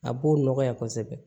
A b'o nɔgɔya kosɛbɛ